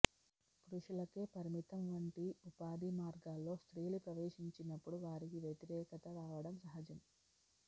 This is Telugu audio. పురుషులకే పరిమితం వంటి ఉపాధి మార్గాల్లో స్త్రీలు ప్రవేశించినప్పుడు వారికి వ్యతికరేకత రావడం సహజం